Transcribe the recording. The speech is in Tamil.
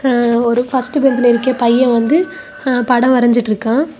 எ ஒரு ஃபர்ஸ்ட் பெஞ்சுலிருக்க பைய வந்து அ படம் வரஞ்சுட்டுருக்கா.